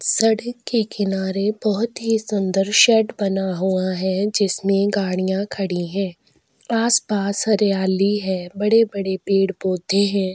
सड़क के किनारे बहोत ही सुंदर शेड बना हुआ है जिसमें गाड़ियाँ खड़ी हैं आसपास हरयाली है बड़े-बड़े पेड़-पौधे हैं।